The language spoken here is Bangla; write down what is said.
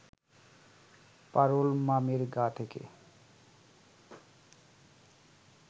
পারুল মামির গা থেকে